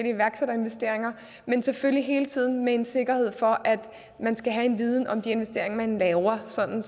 iværksætterinvesteringer men selvfølgelig hele tiden med en sikkerhed for at man skal have en viden om de investeringer man laver sådan